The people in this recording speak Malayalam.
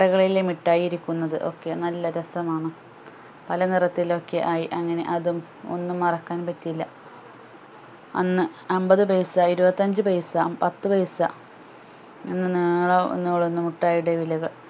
കടകളിലെ മിഠായി ഇരിക്കുന്നത് ഒക്കെ നല്ല രസമാണ് പല നിറത്തിൽ ഒക്കെ ആയി അങ്ങനെ അത് ഒന്നും മറക്കാൻ പറ്റില്ല അന്ന് അമ്പത് പൈസ ഇരുപത്തിഅഞ്ച് പൈസ പത്തു പൈസ ഇന്ന് നീള നീളുന്നു മുഠായിയുടെ വിലകൾ